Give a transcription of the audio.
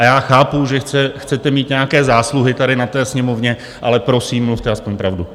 A já chápu, že chcete mít nějaké zásluhy tady na té Sněmovně, ale prosím, mluvte aspoň pravdu.